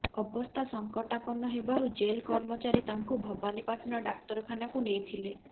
ଅବସ୍ଥା ସଂକଟାପନ୍ନ ହେବାରୁ ଜେଲ କର୍ମଚାରୀ ତାଙ୍କୁ ଭବାନୀପାଟଣା ଡାକ୍ତରଖାନକୁ ନେଇଥିଲେ